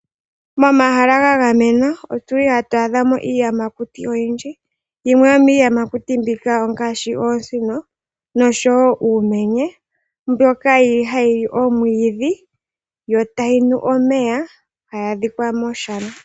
Momahala ga gamenwa oto adha mo iiyamakuti oyindji yimwe yomiiyamakuti mbika ongashi oosino noshowo uumenye mbyoka yili hayi li omwiidhi yo tayi nu omeya tayi adhika moshana.